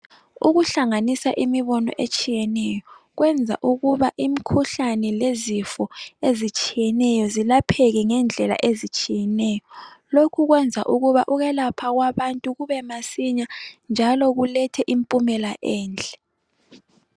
Ukuhlanganisa imibono etshiyeneyo, kwenza ukuba imikhuhlane lezifo ezitshiyeneyo zilapheke ngendlela ezitshiyeneyo, lokhu kwenza ukuba ukwelapha kwabantu kubemasinya njalo kulethe impumela enhle.